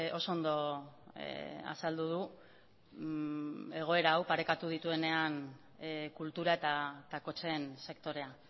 oso ondo azaldu du egoera hau parekatu dituenean kultura eta kotxeen sektorea